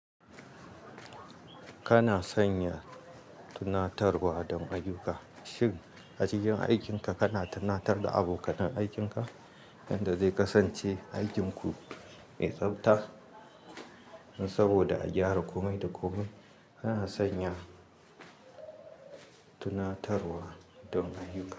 Kana sanya tunatarwa don ayyuka. Shin a cikin aikinka kana tunatar da abokanan aikinka yanda zai kasance aikin ku mai tsabta saboda a gyara komai da komai. Kana sanya tunatarwa don ayuka.